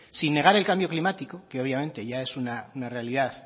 sin negar el cambio climático que obviamente ya es una realidad